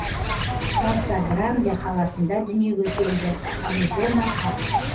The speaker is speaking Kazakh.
каса гранде қаласында дүниеге келді аризона ақш